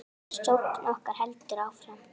Sókn okkar heldur áfram.